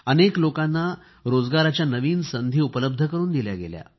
अनेक लोकांना रोजगाराच्या नवीन संधी उपलब्ध करून दिल्या गेल्या